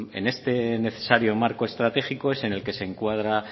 en este necesario marco estratégico es en el que se encuadra